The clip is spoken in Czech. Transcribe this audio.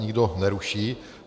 Nikdo neruší.